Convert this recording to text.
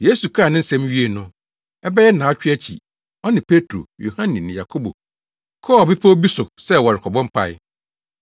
Yesu kaa ne nsɛm yi wiee no, ɛbɛyɛ nnaawɔtwe akyi, ɔne Petro, Yohane ne Yakobo kɔɔ bepɔw bi so sɛ wɔrekɔbɔ mpae.